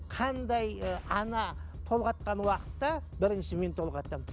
қандай ы ана толғатқан уақытта бірінші мен толғатамын